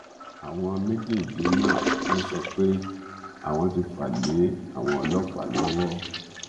àwọn méjèèje náà ló sọ pé àwọn ti fà lé àwọn ọlọpàá lọwọ